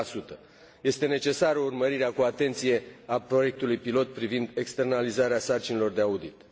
6. Este necesară urmărirea cu atenție a proiectului pilot privind externalizarea sarcinilor de audit.